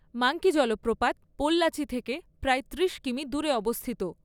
Monkey জলপ্রপাত পোল্লাচি থেকে প্রায় ত্রিশ কিমি দূরে অবস্থিত।